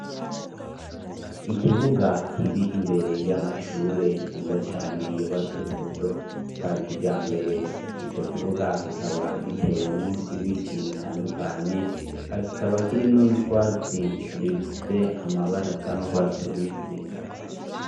Ikibuga kiri imbere y'amashure meza cane yubatswe mu buryo bwa kijambere, ico kibuga kikaba gitewemo ibiti bitandukanye ka kikaba kirimwe n'utwatsi rufise amabara asa nurwatsi rubisi.